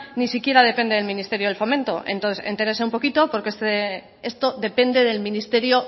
ni siquiera depende del ministerio de fomento entonces entérese un poquito porque esto depende del ministerio